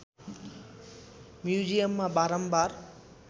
म्युजियममा बारम्बार